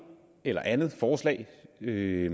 eller andet forslag det